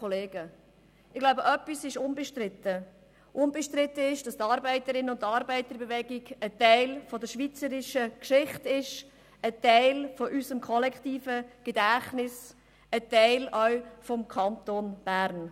Ich glaube, etwas ist unbestritten: Unbestritten ist, dass die Arbeiterinnen- und Arbeiterbewegung ein Teil der schweizerischen Geschichte ist, ein Teil unseres kollektiven Gedächtnisses, ein Teil auch des Kantons Bern.